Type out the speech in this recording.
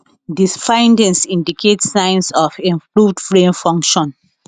di findings indicate signs of improved brain function